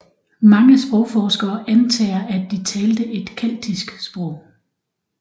Mange sprogforskere antager at de talte et keltisk sprog